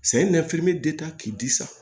k'i di san